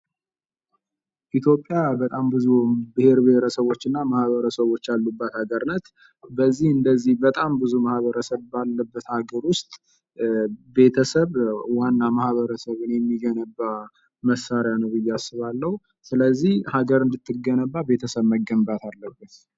ኢትዮጵያ በጣም ብዙ ማህበረሰቦች እና ብሔር ብሔረሰቦች ያሉባት ሀገር ናት። በዚህ እንደዚህ በጣም ብዙ ማህበረሰብ ባለበት ሀገር ውስጥ ቤተሰብ ዋና ማህበረሰብን የሚገነባ መሳሪያ ነው ብየ አስባለሁ ስለዚህ ሀገር እንድትገነባ ቤተሰብ መገንባት አለበት።